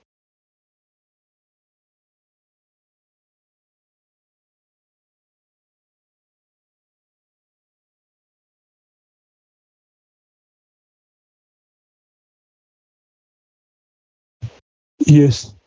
Yes